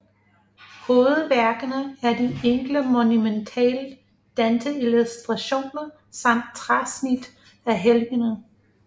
Hovedværkerne er de enkle monumentale Danteillustrationer samt træsnit af helgener